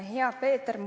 Hea Peeter!